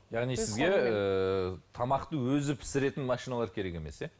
яғни тамақты өзі пісіретін машиналар керек емес иә